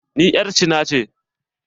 Ni 'yar cina ce.